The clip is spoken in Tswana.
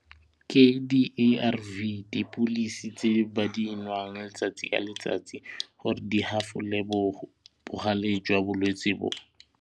Ke di-A_R_V dipilisi tse ba di nwang letsatsi ya letsatsi gore di hafole bogale jwa bolwetse bo.